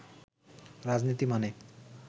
রাজনীতি মানে